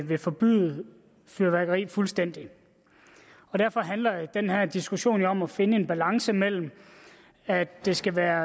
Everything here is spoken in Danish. vil forbyde fyrværkeri fuldstændig og derfor handler den her diskussion om at finde en balance mellem at det skal være